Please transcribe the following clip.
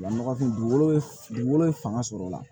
Nɔgɔ kun dugukolo ye fanga sɔrɔ la